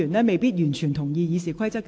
我一直嚴格按照《議事規則》行事。